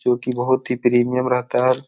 जो की बहुत ही प्रीमियम रहता है।